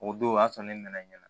O don o y'a sɔrɔ ne nana ɲɛna